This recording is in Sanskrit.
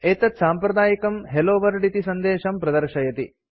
एतत् साम्प्रदायिकं हेल्लो वर्ल्ड इति सन्देशं प्रदर्शयति